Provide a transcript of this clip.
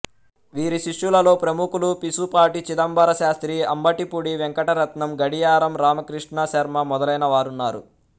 వీరి శిష్యులలో ప్రముఖులు పిశుపాటి చిదంబర శాస్త్రి అంబటిపూడి వెంకటరత్నం గడియారం రామకృష్ణశర్మ మొదలైనవారున్నారు